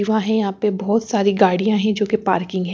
हैं यहाँ पे बहुत सारी गाड़ियाँ हैं जोकि पार्किंग है।